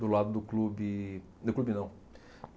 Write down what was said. Do lado do clube... do clube não.